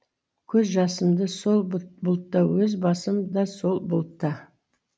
көз жасым да сол бұлтта өз басым да сол бұлтта